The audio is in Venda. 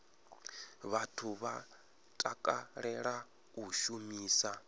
vhathu vha takalela u shumisa